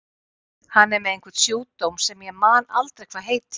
Hann er með einhvern sjúkdóm sem ég man aldrei hvað heitir.